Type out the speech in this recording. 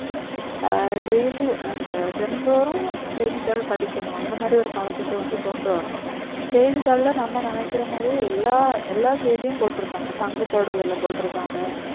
ஆஹ் daily அந்த தினந்தோறும் செய்திதாள் படிக்கனும் அந்த மாதிரி ஒரு பழக்கத்த வந்து கொண்டு வரனும் செய்திதாள்ல நம்ம நினக்கிறது மாதிரி எல்லா செய்தியும் போட்டிருப்பாங்க தங்கத்தோட விலை போட்டிருப்பாங்க